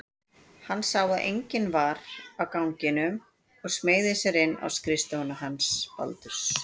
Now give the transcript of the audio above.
Hann sá að enginn var á ganginum og smeygði sér inn á skrifstofuna hans Baldurs.